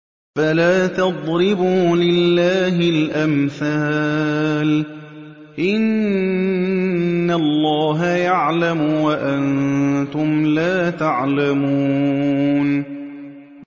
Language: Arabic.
فَلَا تَضْرِبُوا لِلَّهِ الْأَمْثَالَ ۚ إِنَّ اللَّهَ يَعْلَمُ وَأَنتُمْ لَا تَعْلَمُونَ